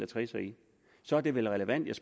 trisser i så er det vel relevant